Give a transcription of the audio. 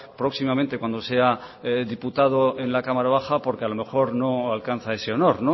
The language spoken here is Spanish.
próximamente cuando sea diputado en la cámara baja porque a lo mejor no alcanza ese honor